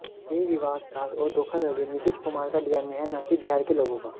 यह विासघात और धोखाधड़ी नीतीश कुमार का डीएनए है न कि बिहार के लोगों का